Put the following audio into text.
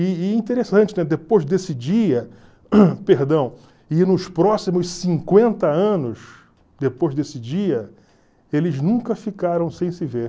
E interessante, né? depois desse dia perdão, e nos próximos cinquenta anos, depois desse dia, eles nunca ficaram sem se ver.